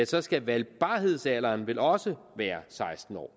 så skal valgbarhedsalderen vel også være seksten år